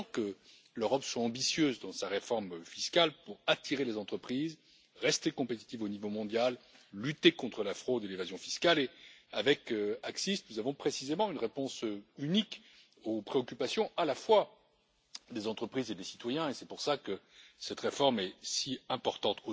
Il est temps que l'Europe soit ambitieuse dans sa réforme fiscale pour attirer les entreprises, rester compétitive au niveau mondial, lutter contre la fraude et l'évasion fiscales et avec ACCIS, nous avons précisément une réponse unique aux préoccupations à la fois des entreprises et des citoyens et c'est pour cela que cette réforme est si importante.